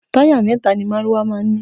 Táyà mẹ́ta ni márúwá máa ń ní.